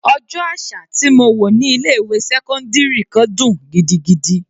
Ọjọ́ àṣà tí mo wò ní ilé ìwé sẹ́cọ́ndírì kan dùn gidigidi.